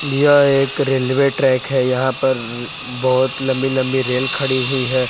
यह एक railway track है यहां पर बहुत लंबी लंबी रेल खड़ी हुई है।